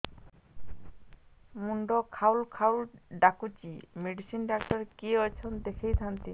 ମୁଣ୍ଡ ଖାଉଲ୍ ଖାଉଲ୍ ଡାକୁଚି ମେଡିସିନ ଡାକ୍ତର କିଏ ଅଛନ୍ ଦେଖେଇ ଥାନ୍ତି